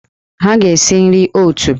Ha ga-si nri oot!